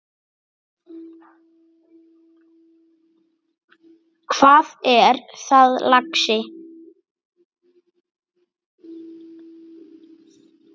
Hvað er það, lagsi?